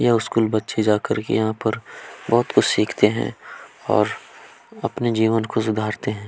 यह स्कूल बच्चे जाकर कर के यहाँ पर बहोत कुछ सीखते है और अपने जीवन सुधारते है।